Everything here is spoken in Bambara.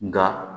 Nka